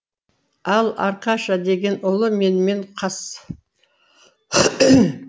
ал аркаша деген ұлы менімен қас